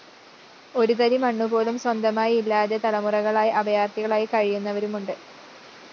ഒരു തരി മണ്ണുപോലും സ്വന്തമായി ഇല്ലാതെ തലമുറകളായി അഭയാര്‍ത്ഥികളായി കഴിയുന്നവരുണ്ട്